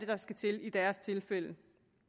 der skal til i deres tilfælde